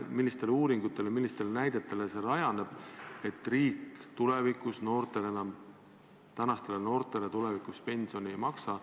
Millistel uuringutel rajaneb väide, et riik tänastele noortele tulevikus pensioni ei maksa?